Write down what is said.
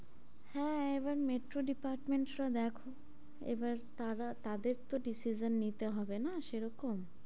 হ্যাঁ, এবার metro department রা দেখো এবার তারা তাদের তো decision নিতে হবে না সেরকম,